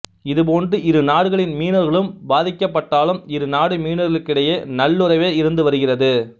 இது போன்று இரு நாடுகளின் மீனவர்களும் பாதிக்கப்பட்டாலும் இரு நாடு மீனவர்களிடையே நல்லுறவே இருந்து வருகிறது